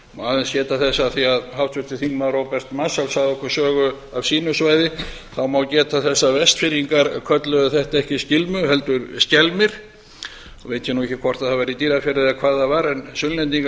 aðeins geta þess af því að háttvirtur þingmaður róbert marshall sagði okkur sögu af sínu svæði þá má geta þess að vestfirðingar kölluðu þetta ekki skilmu heldur skelmi veit ég ekki hvort það var í dýrafirði eða hvar það var en sunnlendingar